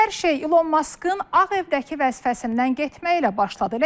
Hər şey İlon Maskın Ağ Evdəki vəzifəsindən getməyi ilə başladı.